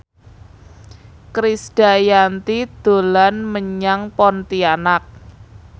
Krisdayanti dolan menyang Pontianak